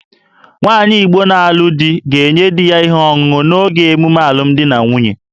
Nwaanyị Igbo na-alụ di ga-enye di ya ihe ọṅụṅụ n'oge emume alụmdi na nwunye